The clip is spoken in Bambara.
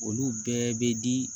Olu bɛɛ bɛ di